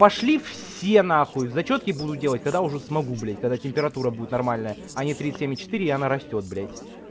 пошли все на хуй зачётки буду делать когда уже смогу блядь когда температура будет нормальная а не тридцать семь и четыре и она растёт блядь